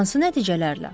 Hansı nəticələrlə?